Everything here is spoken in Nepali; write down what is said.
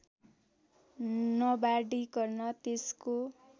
नबाँडिकन त्यसको